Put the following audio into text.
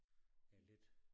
Ja lidt